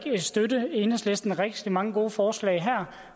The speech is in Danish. støtte enhedslistens rigtig mange gode forslag her